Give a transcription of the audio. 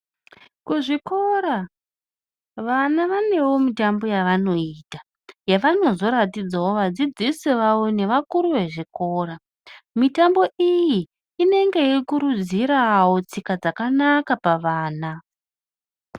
Kuzvikora vana vanewo mitambo yavanoita, yavanozoratidzawo vadzidzisi vavo nevakuru vezvikora. Mitambo iyi inenge yeikurudzirawo tsika dzakanaka pavana.